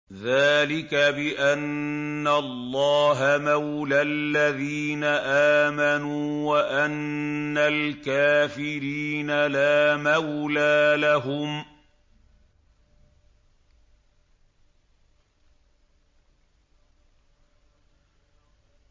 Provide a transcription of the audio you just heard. ذَٰلِكَ بِأَنَّ اللَّهَ مَوْلَى الَّذِينَ آمَنُوا وَأَنَّ الْكَافِرِينَ لَا مَوْلَىٰ لَهُمْ